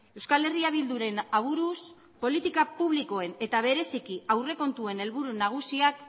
euskal herria bilduren aburuz politika publikoen eta bereziki aurrekontuen helburu nagusiak